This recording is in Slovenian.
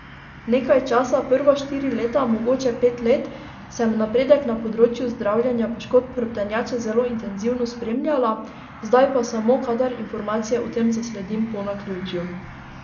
Nekaj časa, prva štiri leta, mogoče pet let, sem napredek na področju zdravljenja poškodb hrbtenjače zelo intenzivno spremljala, zdaj pa samo, kadar informacije o tem zasledim po naključju.